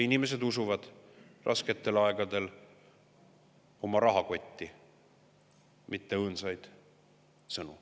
Inimesed usuvad rasketel aegadel oma rahakotti, mitte õõnsaid sõnu.